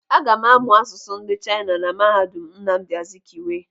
Aga m amụ asụsụ ndị Chaina na mahadum Nnamdi Azikiwe.